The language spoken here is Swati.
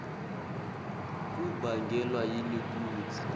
kubangelwa yini kutsi